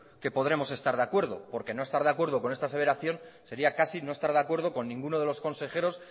que podremos estar de acuerdo porque no estar de acuerdo con esta aseveración sería casi no estar de acuerdo con ninguno de los consejeros